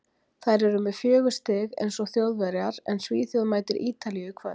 Þær eru með fjögur stig, eins og Þjóðverjar, en Svíþjóð mætir Ítalíu í kvöld.